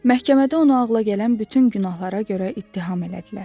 Məhkəmədə onu ağla gələn bütün günahlara görə ittiham elədilər.